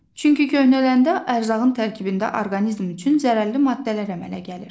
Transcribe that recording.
Çünki köhnələndə ərzağın tərkibində orqanizm üçün zərərli maddələr əmələ gəlir.